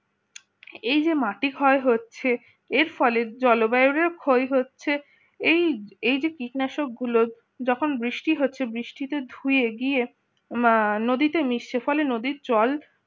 এই যে মাটি ক্ষয় হচ্ছে এর ফলের জলবায়ুরের ক্ষয় হচ্ছে এই যে কীটনাশক গুলো যখন বৃষ্টি হচ্ছে বৃষ্টিতে ধুয়ে গিয়ে নদীতে মিশছে ফলে নদীর জল